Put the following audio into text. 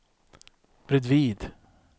bredvid